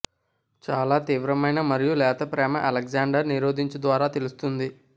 చాలా తీవ్రమైన మరియు లేత ప్రేమ అలెగ్జాండర్ నిరోధించు ద్వారా తెలుస్తోంది